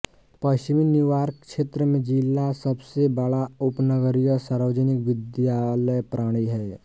पश्चिमी न्यूयॉर्क क्षेत्र में जिला सबसे बड़ा उपनगरीय सार्वजनिक विद्यालय प्रणाली है